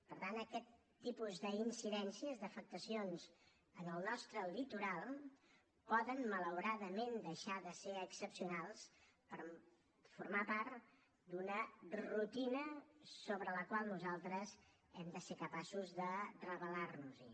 per tant aquest tipus d’incidències d’afectacions en el nostre litoral poden malauradament deixar de ser excepcionals per formar part d’una rutina contra la qual nosaltres hem de ser capaços de rebel·lar nos hi